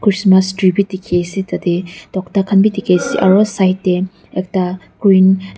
Christmas tree bi dekhi ase tate tokta khan bi dekhi ase aro side te ekta green --